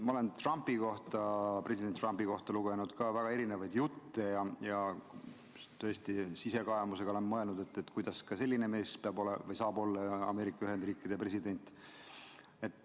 Ma olen ka president Trumpi kohta lugenud väga erinevaid jutte ja tõesti olen sisekaemust kasutades mõelnud, kuidas selline mees saab olla Ameerika Ühendriikide president.